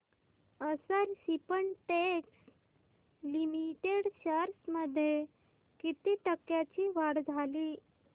अक्षर Spintex Limited shares मध्ये किती टक्क्यांची वाढ झाली